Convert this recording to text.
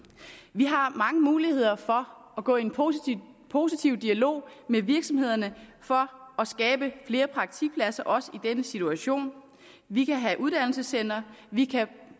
vi har mange muligheder for at gå i en positiv positiv dialog med virksomhederne for at skabe flere praktikpladser også i denne situation vi kan have uddannelsescentre vi kan